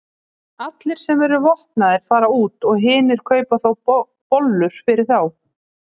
Allir sem eru vopnaðir fara út og hinir kaupa bollur fyrir þá.